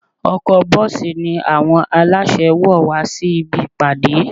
Ọkọ̀-bọ́ọ̀sì ni àwọn aláṣẹ wọ̀ wá sí ibi ìpàdé